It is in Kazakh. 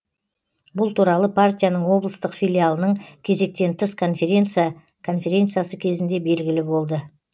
бұл туралы партияның облыстық филиалының кезектен тыс конференция конференциясы кезінде белгілі болды